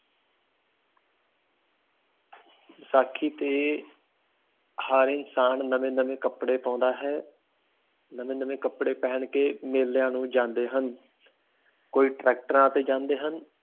ਬੈਸਾਖੀ ਤੇ ਹਰ ਇਨਸਾਨ ਨਵੇਂ ਨਵੇਂ ਕਪੜੇ ਪਾਉਂਦਾ ਹੈ ਨਵੇਂ ਨਵੇਂ ਕਪੜੇ ਪਹਿਨ ਕੇ ਮੇਲਿਆ ਨੂੰ ਜਾਂਦੇ ਹਨ ਕੋਈ ਟਰੈਕਟਰਾਂ ਤੇ ਜਾਂਦੇ ਹਨ